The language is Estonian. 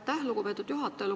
Aitäh, lugupeetud juhataja!